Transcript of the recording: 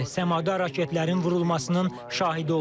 Səmada raketlərin vurulmasının şahidi olduq.